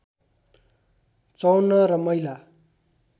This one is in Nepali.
५४ र महिला